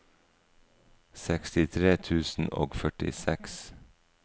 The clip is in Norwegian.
sekstitre tusen og førtiseks